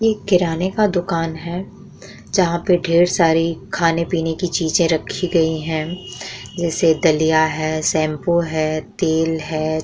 इ किराने का दुकान है जहाँ पे ढेर सारे खाने-पीने की चीज़े रखी गई है। जैसे दलिया है शैम्पू है तेल है।